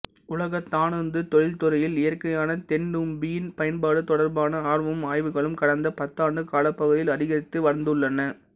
உலக தானுந்து தொழிற்துறையில் இயற்கையான தென்னந்தும்பின் பயன்பாடு தொடர்பான ஆர்வமும் ஆய்வுகளும் கடந்த பத்தாண்டு காலப்பகுதியில் அதிகரித்து வந்துள்ளன